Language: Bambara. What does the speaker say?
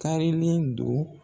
Kaarilen don.